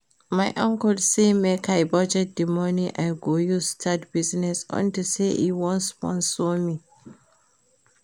My uncle say make I budget the money I go use start business unto say e wan sponsor me